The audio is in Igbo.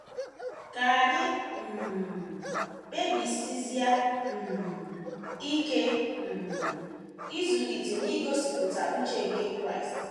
Ka anyị um kpebisizie um ike um ịzụlite na igosipụta uche nke Kraịst.